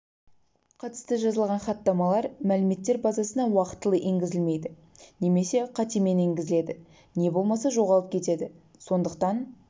қатысты жазылған хаттамалар мәліметтер базасына уақытылы енгізілмейді немесе қатемен енгізіледі не болмаса жоғалып кетеді сондықтан